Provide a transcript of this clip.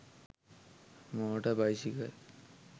moter bicycle